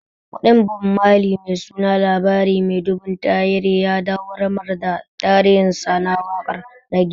Kundin Bob Mali mai suna "labari mai ɗumbin tahiri" ya dawwamar da tarihinsa na waƙar rage